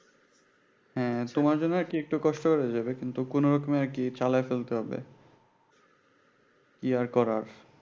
হ্যাঁ তোমার জন্য আরকি একটু কষ্ট হয়ে যাবে কিন্তু কোনোরকমে আরকি চালায় তুলতে হবে ইয়ে করার